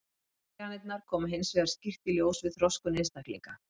Tilviljanirnar koma hins vegar skýrt í ljós við þroskun einstaklinga.